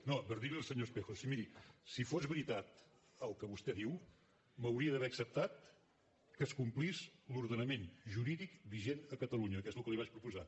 no per dir li al senyor espejo sí miri si fos veritat el que vostè diu m’hauria d’haver acceptat que es complís l’ordenament jurídic vigent a catalunya que és el que li vaig proposar